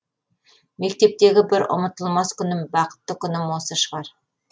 мектептегі бір ұмытылмас күнім бақытты күнім осы шығар